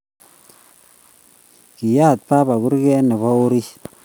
Kiyaat baba kurget nebo orit